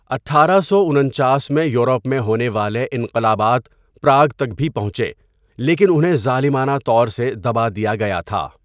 اٹھارہ سو انچاس میں یورپ میں ہونے والے انقلابات پراگ تک بھی پہنچے لیکن انہیں ظالمانہ طور سے دبا دیا گیا تھا۔